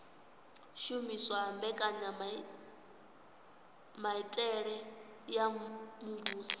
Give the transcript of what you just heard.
shumiswa ha mbekanyamitele ya muvhuso